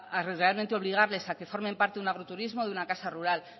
a realmente obligarles a que formen parte de un agroturismo o de una casa rural